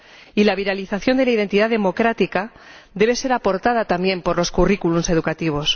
Y la viralización de la identidad democrática debe ser aportada, también, por los currículums educativos.